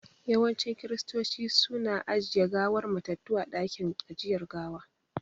Yawancin Kiristoci su na ajiye gawar matattu a dakin ajiyar gawa